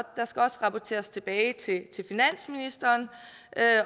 der skal også rapporteres tilbage til finansministeren